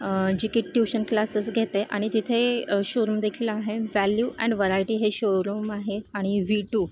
जी कि एक tuition class घेते आणि तिथे शोरूम देखील आहे वैल्यू एंड वैरायटी हे शोरूम आणि व्ही टू --